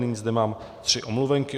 Nyní zde mám tři omluvenky.